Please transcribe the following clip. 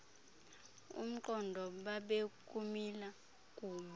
umqondo babekumila kumbi